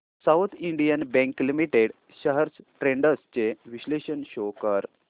south Indian Bank Limited shares trends चे विश्लेषण show कर